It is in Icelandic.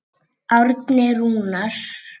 Árni Rúnar.